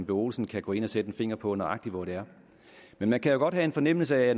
olsen kan gå ind og sætte en finger på nøjagtig hvor det er men man kan jo godt have en fornemmelse af